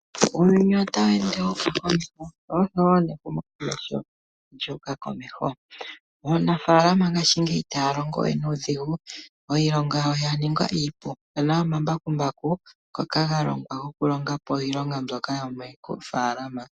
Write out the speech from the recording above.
Uuyuni otawu ende wu uka komeho, sho oshowo nehumokomeho olyu uka komeho. Aanafaalama ngaashingeyi itaya longo we nuudhigu, iilonga yawo ya ningwa iipu. Opu na omambakumbaku ngoka ga longwa gokulonga po iilonga mbyoka yomoofaalama.